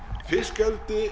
fiskeldi